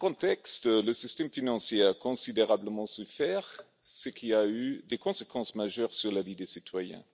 Dans ce contexte, le système financier a considérablement souffert, ce qui a eu des conséquences majeures sur la vie des citoyens.